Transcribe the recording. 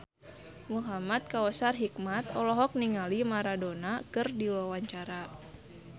Muhamad Kautsar Hikmat olohok ningali Maradona keur diwawancara